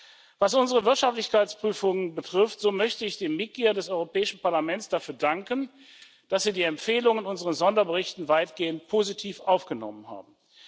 Erstens Was unsere Wirtschaftlichkeitsprüfungen betrifft, so möchte ich den Mitgliedern des Europäischen Parlaments dafür danken, dass sie die Empfehlungen in unseren Sonderberichten weitgehend positiv aufgenommen haben.